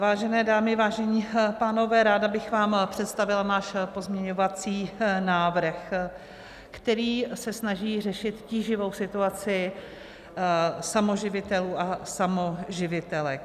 Vážené dámy, vážení pánové, ráda bych vám představila náš pozměňovací návrh, který se snaží řešit tíživou situaci samoživitelů a samoživitelek.